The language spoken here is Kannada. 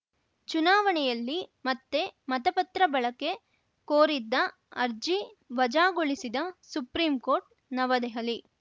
ಚುನಾವಣೆಯಲ್ಲಿ ಮತ್ತೆ ಮತಪತ್ರ ಬಳಕೆ ಕೋರಿದ್ದ ಅರ್ಜಿ ವಜಾಗೊಳಿಸಿದ ಸುಪ್ರೀಂ ಕೋರ್ಟ್‌ ನವದೆಹಲಿ